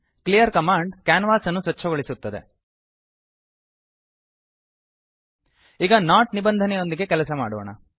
clear command ಕ್ಯಾನ್ವಾಸನ್ನು ಸ್ವಚ್ಛಗೊಳಿಸುತ್ತದೆ ಈಗ ನಾಟ್ ನಿಬಂಧನೆಯೊಂದಿಗೆ ಕೆಲಸ ಮಾಡೋಣ